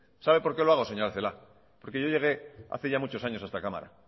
sabe por qué lo hago señora celaá porque yo llegué hace muchos años a esta cámara